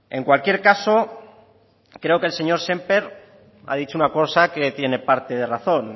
en cualquier caso creo que el señor sémper ha dicho una cosa que tiene parte de razón